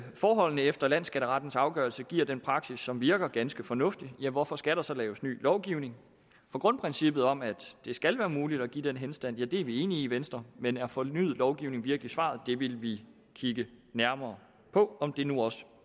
forholdene efter landsskatterettens afgørelse giver den praksis som virker ganske fornuftig hvorfor skal der så laves ny lovgivning for grundprincippet om at det skal være muligt at give den henstand er vi enige i i venstre men er fornyet lovgivning virkelig svaret vi vil kigge nærmere på om det nu også